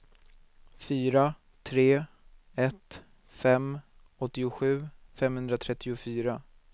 fyra tre ett fem åttiosju femhundratrettiofyra